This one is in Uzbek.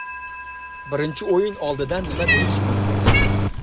Birinchi o‘yin oldidan nima deyish mumkin?